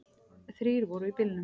Þrír voru í bílnum.